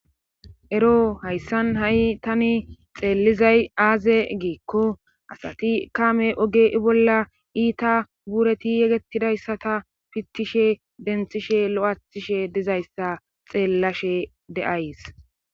ero hayssan ha7i tani xeellizay aaze giikko asati kaame oge i bolla iita bureti yegetidayssata pittishe denthishe lo7athishe dizayssa xeellashe de'ays